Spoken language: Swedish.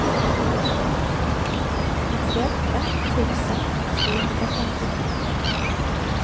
nittioåtta tusen trehundrafemtiotvå